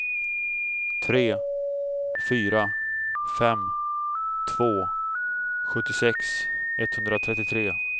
tre fyra fem två sjuttiosex etthundratrettiotre